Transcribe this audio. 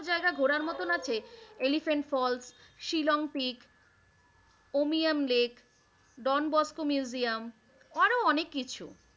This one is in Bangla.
জায়গায় ঘোরার মতন আছে Elephant Falls, Shillong Peak, Umiam Lake, Don Bosco Museum, আরো অনেক কিছু।